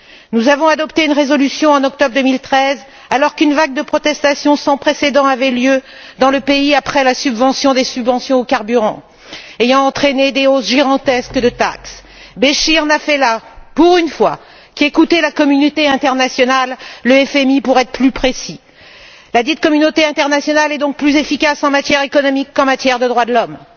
Nous avons adopté une résolution en octobre 2013 alors qu'une vague de protestations sans précédent avait lieu dans le pays après la suppression des subventions aux carburants ayant entraîné des hausses gigantesques au niveau des taxes. Béchir n'a fait là, pour une fois, qu'écouter la communauté internationale, le FMI pour être plus précis. Ladite communauté internationale est donc plus efficace en matière économique qu'en matière de droits de l'homme.